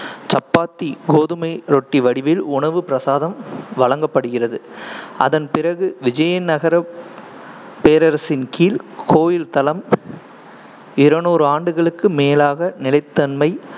சப்பாத்தி கோதுமை ரொட்டி வடிவில் உணவுப் பிரசாதம் வழங்கப்படுகிறது அதன்பிறகு, விஜயநகரப் பேரரசின் கீழ், கோயில் தளம் இருநூறு ஆண்டுகளுக்கு மேலாக நிலைத்தன்மை,